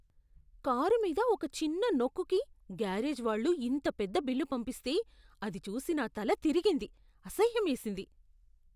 Car మీద ఒక చిన్న నొక్కుకి గ్యారేజ్ వాళ్ళు ఇంత పెద్ద బిల్లు పంపిస్తే, అది చూసి నా తల తిరిగింది, అసహ్యమేసింది.